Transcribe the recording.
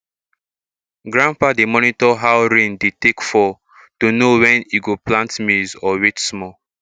grandpa dey monitor how rain dey take fall to know when e go plant maize or wait small